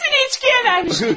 Hamısını içkiyə vermiş!